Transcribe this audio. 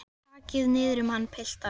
Og takið niður um hann piltar.